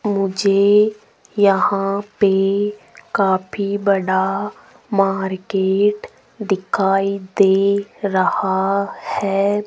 मुझे यहां पे काफी बड़ा मार्केट दिखाई दे रहा है।